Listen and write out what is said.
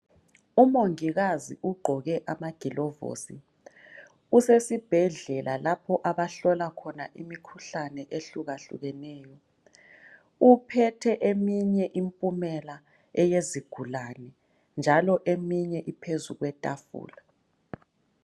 Umongikazi ugqoke amagilovosi, usesibhedlela lapho abahlola khona imikhuhlane ehlukahlukeneyo. Uphethe eminye impumela eyezigulane njalo eminye iphezu kwetafula.